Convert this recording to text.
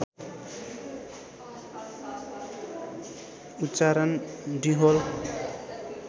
उच्चारण डुह्होल